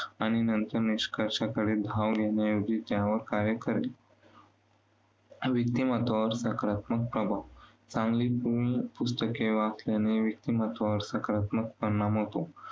आणि निष्कर्षाकडे धाव घेण्याऐवजी त्यावर कार्य करेल. व्यक्तिमत्त्वावर सकारात्मक प्रभाव. चांगली पुस्तके वाचल्याने व्यक्तिमत्वावर सकारात्मक परिणाम होतो.